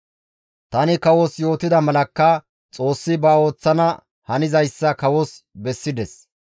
«Tani kawos yootida malakka Xoossi ba ooththana hanizayssa kawos bessides.